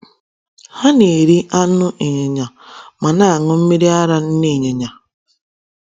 Ha na - eri anụ ịnyịnya ma na - aṅụ mmiri ara nne ịnyịnya.